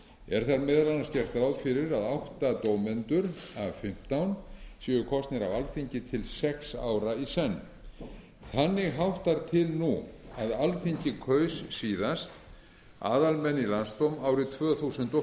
er þar meðal annars gert ráð fyrir að átta dómendur af fimmtán séu kosnir af alþingi til sex ára í senn þannig háttar til nú að alþingi kaus síðast aðalmenn í landsdóm árið tvö þúsund og